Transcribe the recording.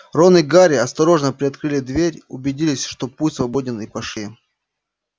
рон и гарри осторожно приоткрыли дверь убедились что путь свободен и пошли